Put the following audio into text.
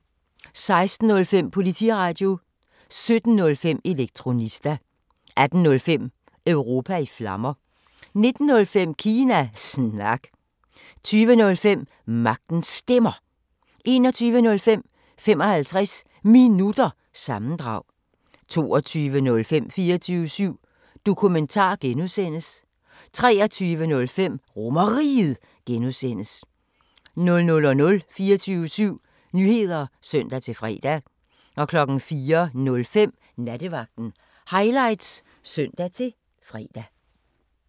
16:05: Politiradio 17:05: Elektronista 18:05: Europa i Flammer 19:05: Kina Snak 20:05: Magtens Stemmer 21:05: 55 Minutter – sammendrag 22:05: 24syv Dokumentar (G) 23:05: RomerRiget (G) 00:00: 24syv Nyheder (søn-fre) 04:05: Nattevagten Highlights (søn-fre)